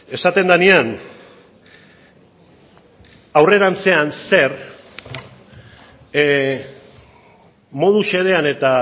esaten denean aurrerantzean zer modu xedean eta